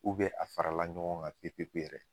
a farala ɲɔgɔn kan pepe yɛrɛ.